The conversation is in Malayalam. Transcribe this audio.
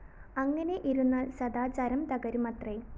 അങ്ങനെ ഇരുന്നാല്‍ സദാചാരം തകരുമത്രെ